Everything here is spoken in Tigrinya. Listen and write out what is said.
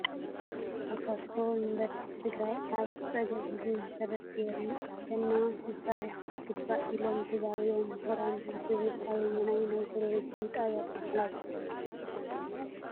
ተሳትፎ ዩኒቨርሲታት ትግራይ ኣብ ፀገም ህዝቢ መሰረት ገይረን ክሰርሓ ይግባእ ኢሎም ተዛሪቦም ምሁራን ዝብል ኣበየናይ ናይ ቴሌቨን ጣብያ ተመሓላሊፉ ?